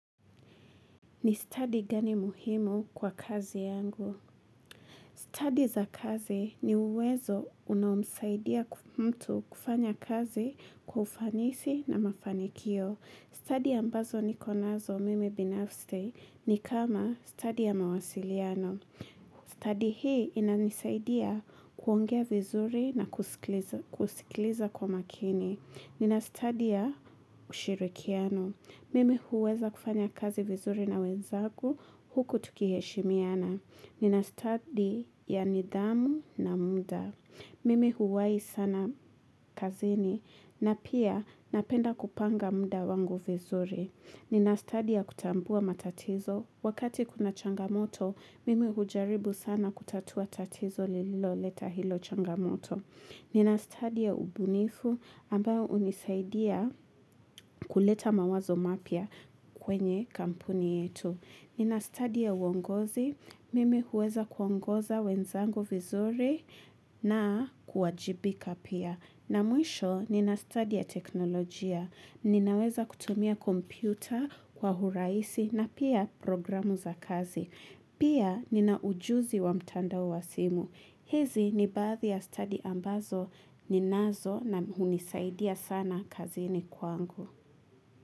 Ni stadi gani muhimu kwa kazi yangu. Stadi za kazi ni uwezo unaomsaidia ku mtu kufanya kazi kwa ufanisi na mafanikio. Stadi ambazo nikonazo mimi binafste ni kama stadi ya mawasiliano. Stadi hii inanisaidia kuongea vizuri na kuskliza kusikiliza kwa makini. Nina stadi ya ushirikiano. Mimi huweza kufanya kazi vizuri na wenzaku huku tukiheshimiana. Nina stadi ya nidhamu na muda. Mimi huwai sana kazini na pia napenda kupanga muda wangu vizuri. Nina study ya kutambua matatizo. Wakati kuna changamoto, mimi hujaribu sana kutatua tatizo lilo leta hilo changamoto. Nina stadi ya ubunifu ambao unisaidia kuleta mawazo mapya kwenye kampuni yetu. Nina stadi ya uongozi, mimi huweza kuongoza wenzangu vizuri na kuwajibika pia. Na mwisho, nina study ya teknolojia, ninaweza kutumia kompyuta kwa huraisi na pia programu za kazi. Pia ninaujuzi wa mtandao wa simu. Hezi ni baadhi ya stadi ambazo ninazo na unisaidia sana kazini kwa angu.